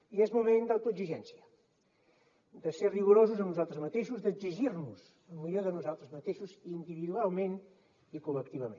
i és moment d’autoexigència de ser rigorosos amb nosaltres mateixos d’exigir nos lo millor de nosaltres mateixos individualment i col·lectivament